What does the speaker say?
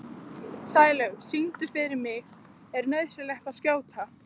Sælaugur, syngdu fyrir mig „Er nauðsynlegt að skjóta“.